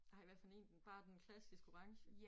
Ej hvad for én den bare den klassiske orange